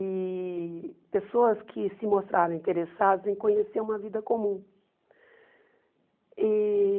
e pessoas que se mostraram interessadas em conhecer uma vida comum e.